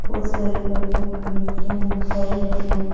बहुत सारी गाड़ियां खड़ी हैं घर हैं --